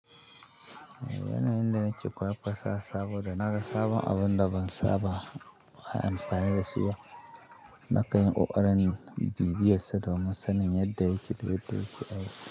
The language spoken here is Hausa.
Yana yin da nake kosa sabo da naga sabon abun da ban saba amfani da su ba. Nakan yi ƙoƙarin bibiyar sa domin sa nin yadda yake da yadda yake aiki.